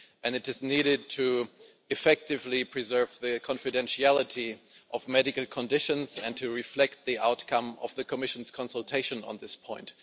It is needed to effectively preserve the confidentiality of medical conditions and to reflect the outcome of the Commission's consultation on this point.